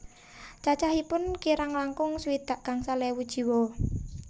Cacahipun kirang langkung swidak gangsal ewu jiwa